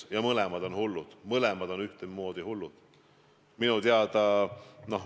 Ja mõlemad on hullud, mõlemad on ühtemoodi hullud.